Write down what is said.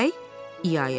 İa-ia dedi.